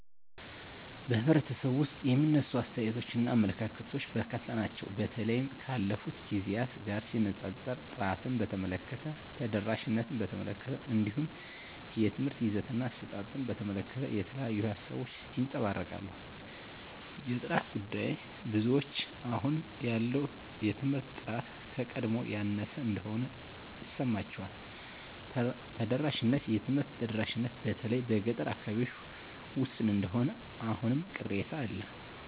በኅብረተሰቡ ውስጥ የሚነሱ አስተያየቶችና አመለካከቶች በርካታ ናቸው። በተለይም ካለፉት ጊዜያት ጋር ሲነጻጸር፣ ጥራትን በተመለከተ፣ ተደራሽነትን በተመለከተ፣ እንዲሁም የትምህርት ይዘትና አሰጣጥን በተመለከተ የተለያዩ ሃሳቦች ይንጸባረቃሉ። የጥራት ጉዳይ -ብዙዎች አሁን ያለው የትምህርት ጥራት ከቀድሞው ያነሰ እንደሆነ ይሰማቸዋል። ተደራሽነት -የትምህርት ተደራሽነት በተለይ በገጠር አካባቢዎች ውስን እንደሆነ አሁንም ቅሬታ አለ